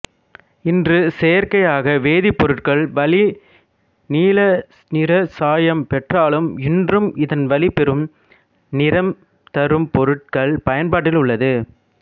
இன்று செயற்கையாக வேதிப்பொருட்கள் வழி நீல நிறச் சாயம் பெற்றாலும் இன்றும் இதன்வழி பெறும் நிறம்தரும் பொருட்கள் பயன்பாட்டில் உள்ளது